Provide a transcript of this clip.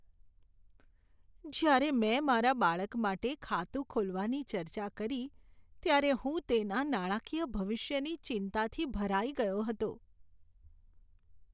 જ્યારે મેં મારા બાળક માટે ખાતું ખોલવાની ચર્ચા કરી, ત્યારે હું તેના નાણાંકીય ભવિષ્યની ચિંતાથી ભરાઈ ગયો હતો.